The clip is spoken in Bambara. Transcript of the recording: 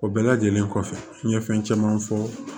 O bɛɛ lajɛlen kɔfɛ n ye fɛn caman fɔ